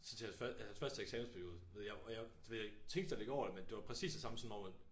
Så til han første ja hans første eksamensperiode jeg og jeg jeg tænkte slet ikke over det men det var præcis det samme som om at